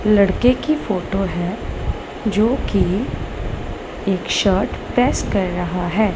लड़के की फोटो है जो की एक शर्ट प्रेस कर रहा है।